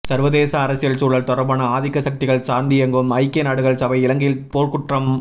சர்வதேச அரசியல் சூழல் தொடர்பான ஆதிக்க சக்திகள் சார்ந்தியங்கும் ஐக்கியநாடுகள் சபை இலங்கையில் போர்க்குற்றம்